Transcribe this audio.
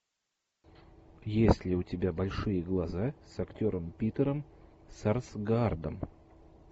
есть ли у тебя большие глаза с актером питером сарсгаардом